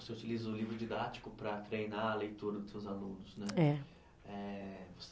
Você utiliza o livro didático para treinar a leitura dos seus alunos né. É. Eh